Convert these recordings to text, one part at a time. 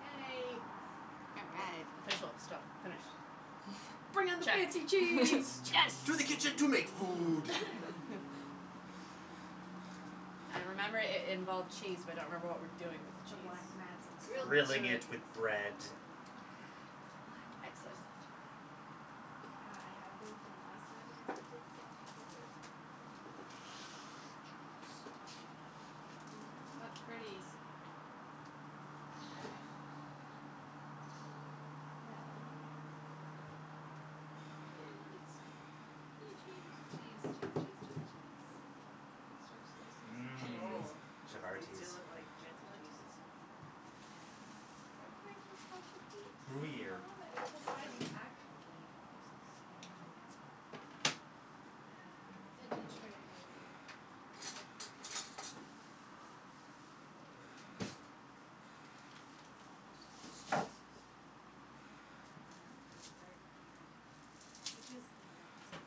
Yay Official stuff, finish Bring on the Check. fancy Cheese. cheese. To the kitchen to make food I remember it it involved cheese but I don't remember what we're doing with the The cheese. black mats look so Grilled Grilling good. it with cheese! bread The black Excellent. mats are such a good Yeah, I idea. had Yeah. them from last time I attempted to self photography What pretties All right So Yay lights Yay cheese Cheese cheese cheese cheese cheese I could start slicing some cheeses. Mmm Oh chavatis feel it like fancy cheese Chavatis Yeah. I Gruyere love it. That's the size you actually need Versus I know gigantic one. Um, veggie tray And then for dessert we have, peaches, and vanilla ice cream.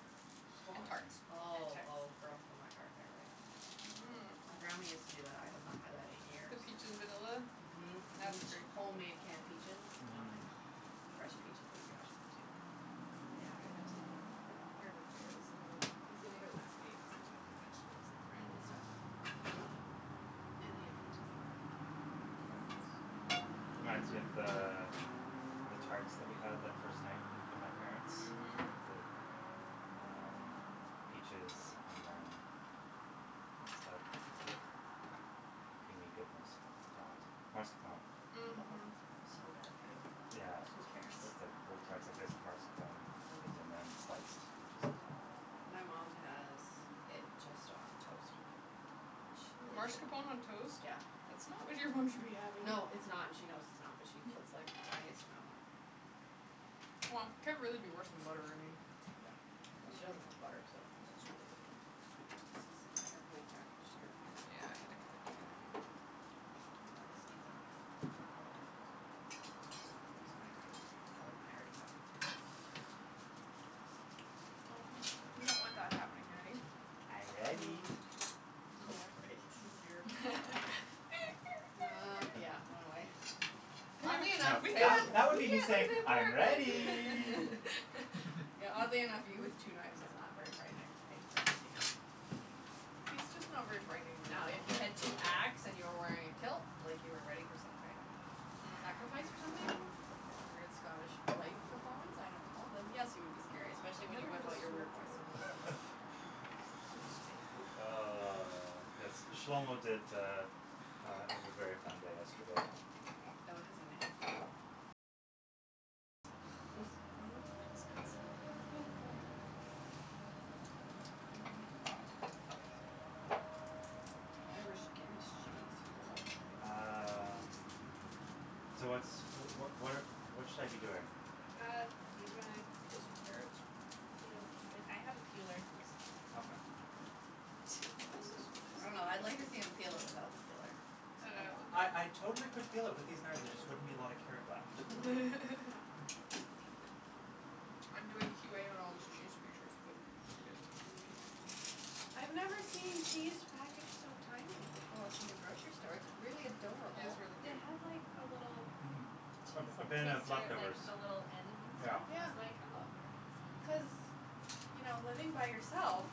Home tarts. Awesome. Oh oh girl for my heart there right. Yeah, yeah. Mmm My grandma used to do that. I have not had that in years. peach in vanilla? Mhm Yeah, mhm it's a great homemade canned peaches, vanilla Mhm. ice cream. Fresh peaches are gonna be awesome too Yeah, I went to Urban Fare this morning, I was gonna go last night cuz I had to get like vegetables and bread and Mhm stuff And they had peaches and I was like, yes Very nice. Reminds me of the, the tarts that we had that first night, with my parents. Mhm The, um, peaches and then, what's that, creamy goodness called, mascarpone Mhm so bad for you Yeah Oh who cares That's like little tarts like that with mascarpone cheese and Mhm then sliced peaches on top of it My mom has it just on toast. Which she really shouldn't Marscapone on toast? Yeah. That's not what your mom should be having. No, it's not and she knows it's not but she puts like the tiniest amount on Wha, can't really be worse than butter I mean Yeah, well she doesn't have butter, so This is like heavily packaged here Yeah, I had to kinda dig in there Yeah, this needs a knife. Otherwise I'm just gonna lose my mind, more than I already have. we don't want that happening, Natty. I'm ready. Mm. Oh Oh, great oh, dear Uh, yeah, run away Oddly No enough that that would me just saying, "I'm ready" Yeah oddly enough, you with two knives is not very frightening He's just not very frightening in No, if general. you had two axe and you were wearing a kilt like you were ready for some kind of Mm sacrifice or something, some kind of weird Scottish rite performance, I don't know, then yes you would be scary. Especially We when haven't had a smoked in a while Ah, yes, this Shlomo did uh uh have a very fun day yesterday. Fellow has a name? Oh No accents jeez Um Irish Guinness cheese ho ho Um, so what's, wh- wh- what what should I be doing? Uh, you gonna Um, peel some carrots? peel some- I have a peeler. Okay. I don't know, I'd like to see him peel it without the peeler. Like how that Uh would I I go totally could peel it with these knives there just wouldn't be a lot of carrot left. I'm doing Q A on all this cheese to make sure it's good just so you guys know. Okay I've never seen cheese packaged so tinily before from the grocery store, it's really It is adorable. really They cute. had like a little Mhm A cheese a bin of taster at like leftovers the little ends and Yeah. stuff I Yeah. was like oh I've never had this ones so Cuz, you know living by yourself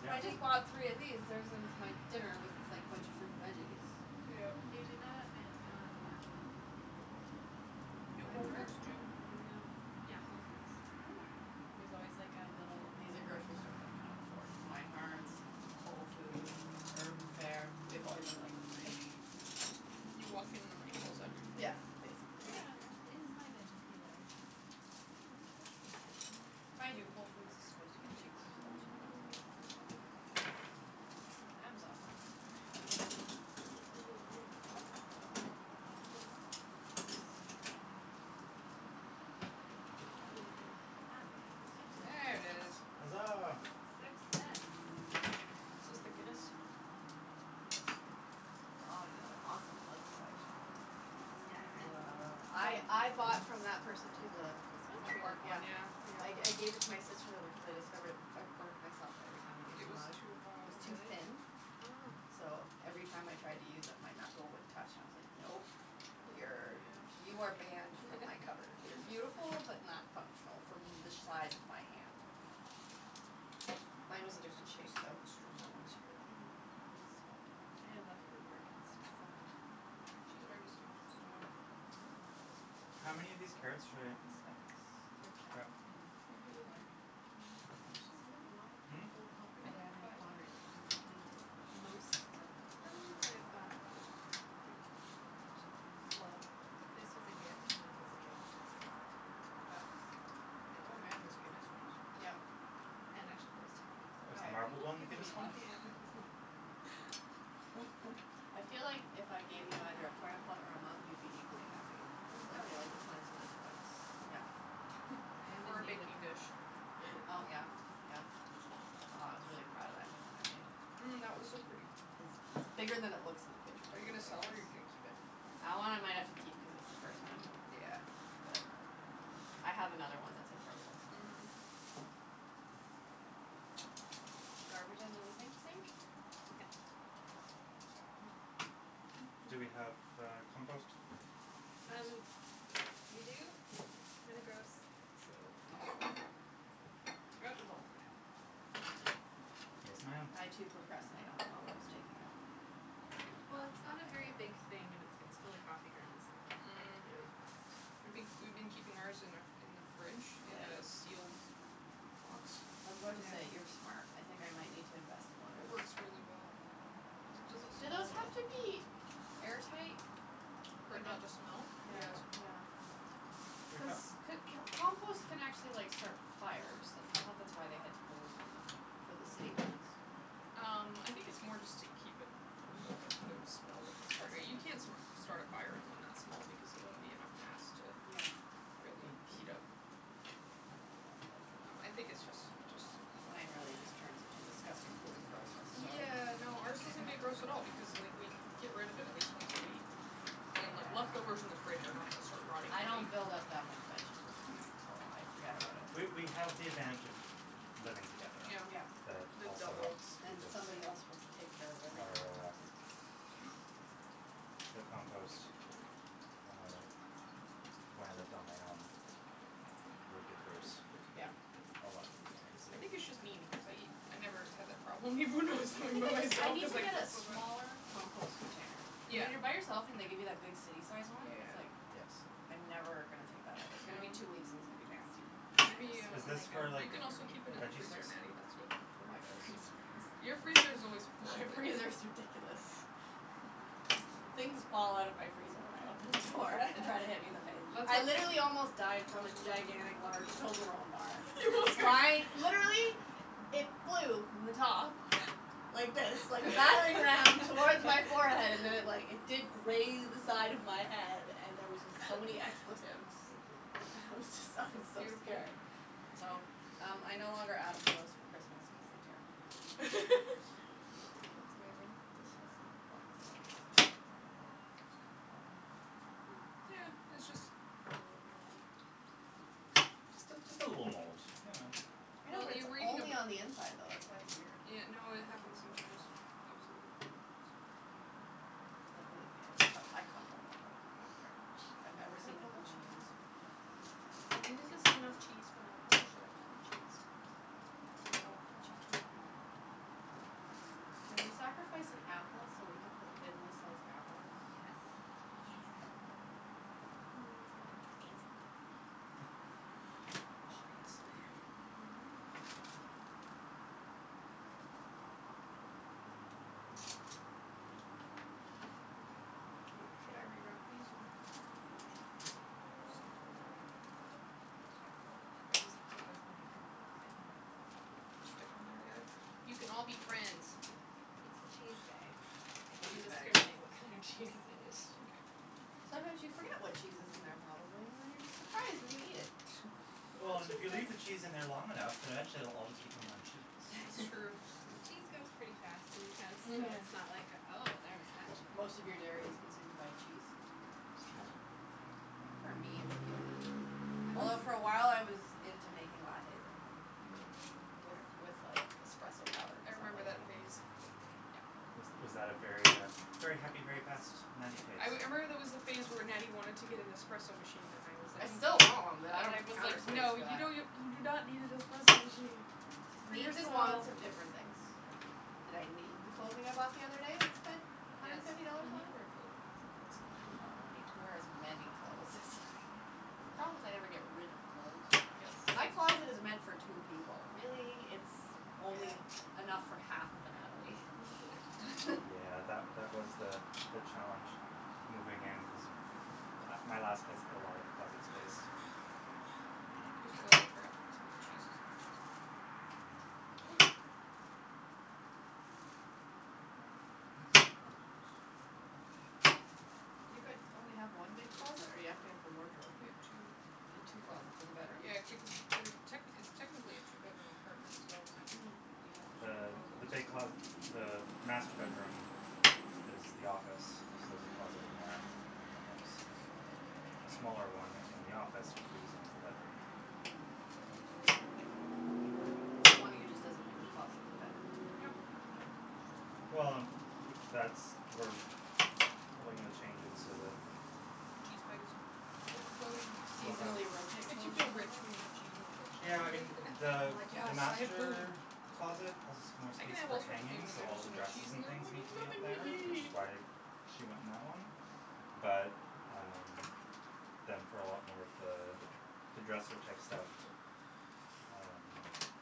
Yeah. I just bought three of these, there's it's my dinner, was like a bunch of fruit and veggies. Yeah. They do that at um Where? Do at Whole Meinhardts? Foods too No. Yeah, Whole Foods. Oh. There's always like a little These are grocery stores I can not afford. Meinhardts, Whole Foods, Urban Fare. We avoid them like the plague. You walk in and the money falls out of your Yeah pocket basically Where on earth is my veggie peeler? That is a good question Mind you Whole Foods is supposed to get cheaper It's So that should in be awesome another drawer. From Amazon buying it That's really weird, had one, swear I had one I believe you. Ah There it is. Hazaa! Success! Is this the Guinness? Aw you have an awesome mug collection. Yeah. I I bought from that person too the This one? the the tree one, work one yeah. yeah I I gave it to my sister though because I discovered it, I burnt myself every time I used It the was mug, too it hot. was Oh too really? thin Oh So, every time I tried to use it my knuckle would touch and I was like, nope, you're Yeah you are banned from my cupboard, you're beautiful but not functional from the size of my hand. Mine was a different shape though, from that one. Mm. Yeah I love her work, it's just so She has a very distinctive style this one's cool, How many of these carrots should I like the speckles Thrift shop grab? and Maybe like, bargain one per Yeah person for see, why now. pay Hmm? full pop for Maybe like handmade five. pottery, you don't need to Most of them I bought new, Yeah actually Well, this was a gift and that was a gift and so was that. Yeah And Oh that man one this and Guinness that one one is Yeah And actually those two were gift Oh Oh is the sorry marbled people have one the given me a Guinness lot one? of Yeah mugs I feel like if I gave you either a plant pot or a mug you'd be equally happy. Mm It's like Oh you yeah like the plants you like the mugs. Yeah I am Or in a need of baking dish Oh yeah, yeah, wow I was really proud of that new one I made. Mm that was so pretty! It's bigger than it looks in the picture too. Are you gonna It's sell like it the or you gonna keep it? That one I might have to keep cuz it's the first one. Yeah But, um, I have another one that's in process already, Mhm so The garbage under the sink sink? Yeah Okay Do we have, uh, compost? Um, we do, it's kinda gross, so Throw it in the bowl, for now Yes ma'am! I too procrastinate on the compost taking out. No, Well it's it's not not a my very favorite big thing and its gets full of coffee grounds and like, Mm really Yeah fast We been we've been keeping ours in our in the fridge in Ya- a yes sealed box I was about to say, "You're Yeah. smart", I think I might need to invest in one of It those works really well. It doesn't Do those have to be air tight? For it not to smell? Yeah Yes. yeah Cuz c- can't compost can actually like start fires, that's I thought that's why they have holes in them, for the city ones Um, I think it's more just to keep it from building up poop smell, Disgusting you can't that's start a fire in one that small because it won't be enough mass to Yeah, okay, really heat up okay Um I think it's just it's just Mine really just turns into a disgusting pool of grossness, so Yeah, no, ours doesn't get gross at all because like we get rid of it at least once a week I mean like leftovers in the Yeah fridge are not going to start rotting I in a don't week build up that much vegetable debris, so I forget about it We we have the advantage of living together Yeah Yeah That the also helps And Because, somebody else will take care of everything our the compost, uh, when I lived on my own, would get gross Yeah A lot more I easily think it's just me because I I never had that problem even when I was living by I myself need cuz to I get a get so much smaller compost container Yeah When you're by yourself and they give you that big city sized one, it's Yeah like, Yes I'm never gonna take that out, it's gonna be two weeks and it's gonna be nasty I just Natty have Is um, this like a, for you like can also Rubbermaid keep it in the veggie freezer sticks? Natty, that's what Yeah Courtney does My freezer Your is freezer is always full. My freezer is ridiculous Things fall out of my freezer when I open the door and try to hit me in the face. Let's I literally almost died from a gigantic large Toblerone bar, flying, literally, it flew from the top, like this, like a battering ram, towards my forehead and then it like, it did graze the side of my head and there was just so many expletives. I was just, I was so Beautiful scared So, um I no longer ask for those for Christmas cuz they terrify me. That's amazing This has like black stuff it's a bit weird, just cut the bottom off Mm, yeah, it's just, cut a little Just a, just a little mold, you know I know but it's only on the inside though, that's why it's weird Yeah, no, it happens sometimes, I've seen that I hate it when it happens. Oh believe me I d- I cut mold off all the time, I don't care. I've never Cut seen up it all the only on the cheese inside I think enough cheese for now, or should I cut more cheese? I don't want no cheese Can we sacrifice an apple so we can put thinly sliced apples? Yes Yeah It's gonna Mm be fancy pancy Oh yes Should I re-wrap these and put them back in the fridge? some more wrap Mm sure. Or just throw as many will fit in that zip-lock, and just You can all be friends. It's the cheese bag, it Cheese doesn't bag. discriminate what kind of cheese is in it. Mkay Sometimes you forget what cheese is in their probably and then you're just surprised when you eat it Well and if you leave the cheese in there long enough then eventually it will all just become one cheese That's true. Cheese goes pretty fast in this house, so Mhm it's not like oh there's that che- Most of your dairy is consumed by cheese Pretty Yeah. much. I think for me it's yogurt Although for awhile I was into making lattes at home Mm With with like espresso powder I cuz I'm remember that lazy phase Yeah Was was that a very uh very happy, very fast Natty phase? I wou- I remember there was a phase where Natty wanted to get an espresso machine and I was like, I n- still want one but I , and don't I have the was counter like, space "No for you that. don't n- , you do not need an espresso machine" Cuz For needs and wants yourself are different things. Did I need the clothing I bought the other day and spent a hundred Yes, and fifty dollars you need on? to wear clothing, that's a that's an Well important I don't need to wear as many clothes as I have. The problem is I never get rid of clothes. Yes My closet is meant for two people really, it's only Yeah enough for half of a Natalie. Yeah that wa- that was the the challenge moving in cuz m- my last place had a lot of closet space, for me I just realized I forgot to put some of the cheeses on the cheese plate Ooh. You guys only have one big closet or you have to have a wardrobe? We have two. You have two closets in the bedroom? Yeah techni- it's technically a two bedroom apartment, so, Mm. we have two Uh, closets the big closet, the master bedroom is the office so there's a closet in there and then there's a smaller one in the office which we're using as the bedroom Mm k So one of you just doesn't have your closet in the bedroom Yep Yeah. Well and w- w- that's we probably gonna change it so that the cheese Overflowing You We'll have seasonally rotate clothes or rich something? when you have cheese in the fridge so Yeah I mean the I'm like, the "Yes, so much food." master closet has more I can space have for all sorts of food hanging and then so all there's the no cheese dresses in and there, I'm things like, need to be up "Nothing there which to is eat." why she went in that one, but um, then for a lot more of the, the dresser type stuff um,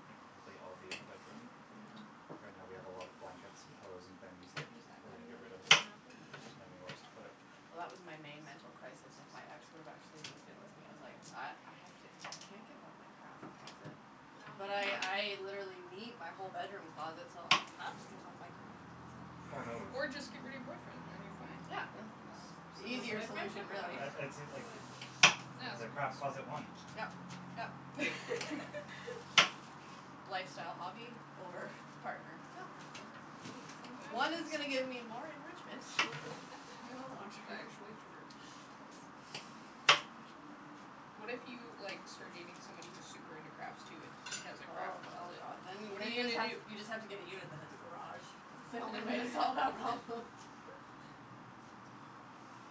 like I'll I'll be in the bedroom. Mhm. Yeah Right now we have a lot of blankets and pillows and things, that, Can we use that we're gonna cutting get board to rid of, cut up an apple? just didn't have anywhere else to put it Well that was my main mental crisis if my ex would've actually moved in with me, I was like "I, I have to, I can't give up my craft closet", but I, I literally need my whole bedroom closet so I have to give up my craft closet Or move Or just get rid of your boyfriend then you're fine Yeah The easier solution really the craft closet won Yep yep Lifestyle hobby over partner? No problem. One is gonna get me more enrichment in the long term. What if you like, start dating somebody who's super into crafts too and he has a Oh craft oh closet? god. Then, What are then you you just gonna have, do? you just have to get a unit that has a garage. That's the only way to solve that problem.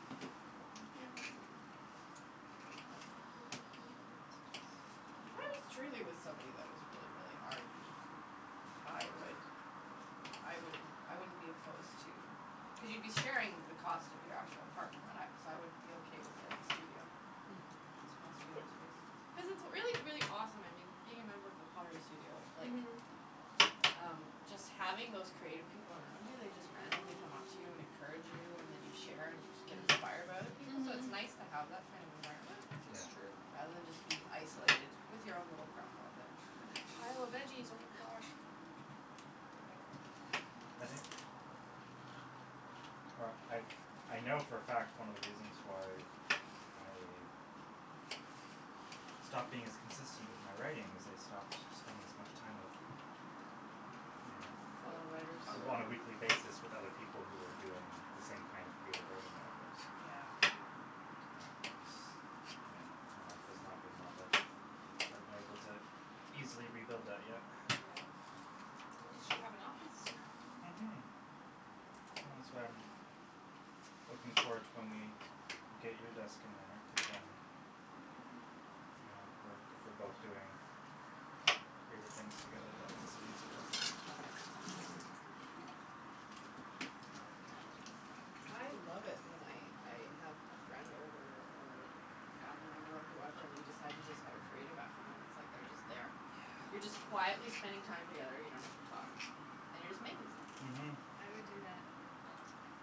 That's not working If I was truly with somebody that was really really arty, I would, I wouldn't, I wouldn't be opposed to, cuz you'd be sharing the cost of your actual apartment right, and I, so I would be okay with getting a studio. Mhm. Small studio space. Cuz it's really really awesome, I mean, being a member of the studio, like, Mhm um, just having those creative people around you, they just randomly come up to you and encourage you, and then you share and you get inspired by other Mm people, so it's nice Mhm to have that kind of environment, Is Yeah true rather than just be isolated with your own little craft closet. Pile of veggies oh my gosh Or I, I know for a fact one of the reasons why I stopped being as consistent with my writing, is I stopped spending as much time with, you Fellow writers know, on a weekly basis with other people who were doing the same kind of creative writing that I was Yeah Yeah And, you know, my life has not been one that I've been able to easily rebuild that yet Yeah At least you have an office now. Mhm Well that's why I'm, looking forward to when we, get you a desk in there, Yeah, cuz then then we can hang out Yeah we're if we're both doing creative things together that makes it easier Tells about you. I love it when I I have a friend over or a family member whoever and we decide to just have a creative afternoon, it's like they're just there Yeah You're just quietly spending time together, you don't have to talk, and you're just making stuff Mhm I would do that all the time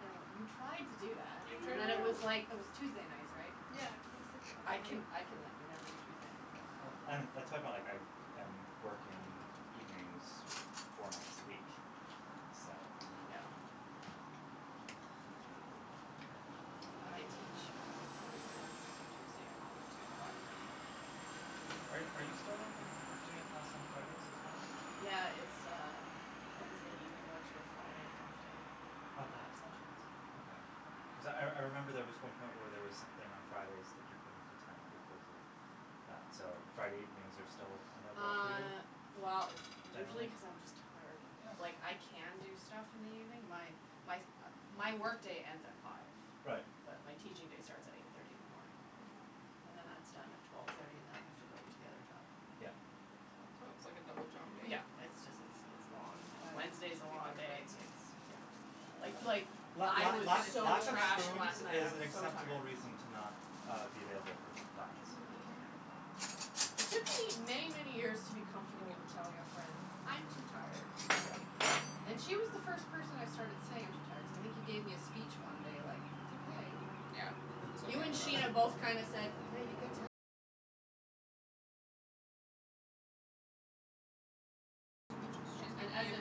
I know what, you tried to do that I and then it was know! like, it was Tuesday nights, right? And I'm li, Yeah cuz it was like the I only can night I can like never do Tuesday nights Yeah well Yeah and that's my point like I am working evenings four nights a week, so Yeah Yeah, totally Well and I teach on Wednesdays so Tuesday I'm always doing a lot of prep work. Are are you still doing a class on Fridays as well? Yeah it's uh Wednesday evening lecture Friday half day Okay. lab sessions Okay. Yeah Cuz I I remember there was one point where there was something on Fridays that you couldn't attend because of that so Friday evenings are still a no go for you, Uh, well it's usually generally? cuz I'm just tired. Yeah Like I can do stuff in the evening, my my my work day ends at five. Right But my teaching day starts at eight thirty in the morning. And then that's done at twelve thirty and then I have to go to the other job Yeah. So, So it's like a double job w day yeah, it's just it's it's long, Mmm and butter, Wednesday's a should we long butter day breads? s Yeah it's yeah Uh Like like, la I la was lack so lack of trashed spoons last night, I is sandwiches an was so acceptable tired. reason to not uh be available for plans. Yeah Um It took me many many years to be Thank comfortable with you. telling a friend "I'm too tired, Yeah sorry". And she was the first person I started saying "I'm too tired" cuz I think you gave me a speech one day like "that's okay". Yeah Yeah, and as a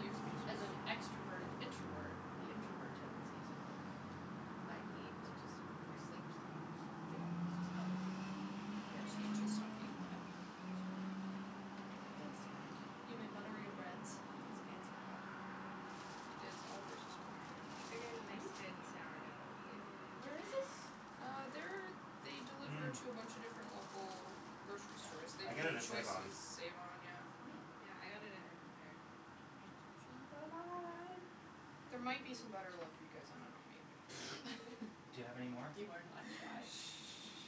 as an extroverted introvert, the introvert tendencies are like "I Mhm need to just go to sleep sometimes". Yeah yeah It's just how it is. Mm, you Yeah just it's need to stop feeling bad about it, that's all. Guilt's horrible. You may butter your breads. This fancy bread It is Oliver's, it's wonderful They get a nice Joop! good sourdough with Mhm Where is this? Uh, they're, they deliver Mmm to a bunch a different local grocery Yeah, stores, they I do get it at save-on Choices, save-on, yeah Mm Yeah I got it at Urban Fare I can see There might be cheese some butter left for you guys, I don't know maybe Do you have any more? You are not shy.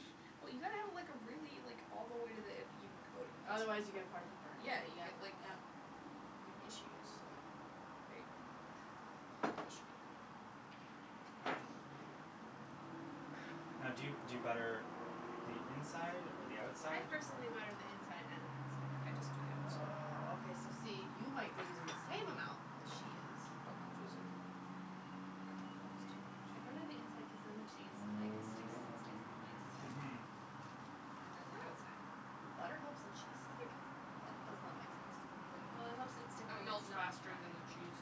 Well you gotta have like a really, like all the way to the end even coating Otherwise you get part of it burned, Yeah yep you yep get like, yeah you have issues, so there you go That should be okay. Okay. Now do you do you butter the inside or the I outside or personally butter the inside and the outside. I just do the outside. Woah, okay so see, you might be using the same amount as she is. But on two sides Probably I don't use too much. I butter the inside cuz then the cheese like sticks and stays in place. Mhm And then the Oh! outside The butter helps the cheese stick? That Mhm does not make sense to me. Well it helps it stick It when it's melts not faster than fried. the cheese.